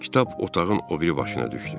Kitab otağın o biri başına düşdü.